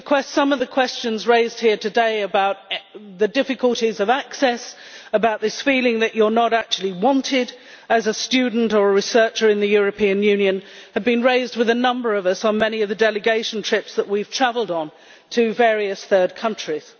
Some of the questions raised here today about the difficulties of access about the feeling that you are not actually wanted as a student or a researcher in the European Union have been raised with a number of us during many of the delegation trips that we have travelled on to various third countries.